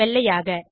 வெள்ளையாக